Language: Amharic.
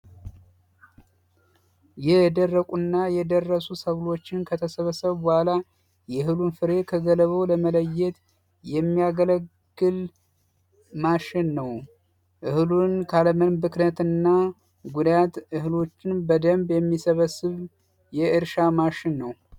የደረቁና የደረሱ ሰብሮችን ከተሰበሰቡ በኋላ ገለባውን ከእህሉ ለመለየት የሚያገለግል ማሽን ነው። እህሉን ካለምንም ብክነትና ጉዳት እህሎችን የሚሰበስብ የእርሻ ማሽን ነው።